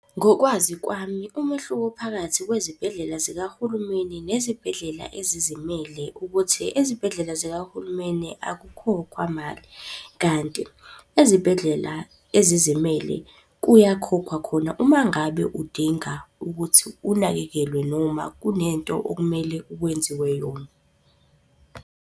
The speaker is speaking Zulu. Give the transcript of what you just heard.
Ngokwazi kwami, umehluko phakathi kwezibhedlela zikahulumeni nezibhedlela ezizimele, ukuthi ezibhedlela zikahulumeni akukhokhwa mali. Kanti ezibhedlela ezizimele kuyakhokhwa khona uma ngabe udinga ukuthi unakekelwe, noma kunento okumele kwenziwe yona.